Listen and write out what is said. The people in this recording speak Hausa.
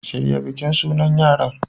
Shirya bikin sunan yaran